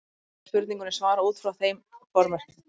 Verður spurningunni svarað út frá þeim formerkjum.